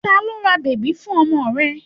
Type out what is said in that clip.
Ta ló ra bèbí fún ọmọ rẹ?